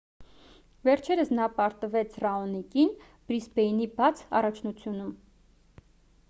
վերջերս նա պարտվեց ռաոնիկին բրիսբեյնի բաց առաջնությունում